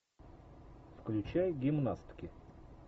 включай гимнастки